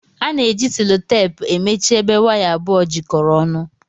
Ana eji sellotepu emechi ebe waya abụọ jikọrọ ọnụ.